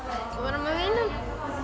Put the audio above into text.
og vera með vinum